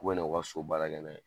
K'o kan'o ka so baara kɛ na ye